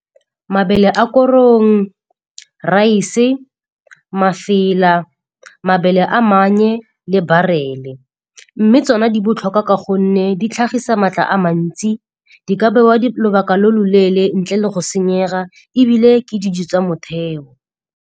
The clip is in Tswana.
Mabele a korong, rice-e, mafela, mabele a mannye le barele. Mme tsona di botlhokwa ka gonne di tlhagisa maatla a mantsi, di ka bewa lobaka lo loleele ntle le go senyega ebile ke dijo tsa motheo.